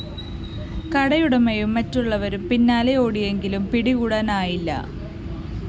കടയുടമയും മറ്റുള്ളവരും പിന്നാലെ ഓടിയെങ്കിലും പിടികൂടാനായില്ല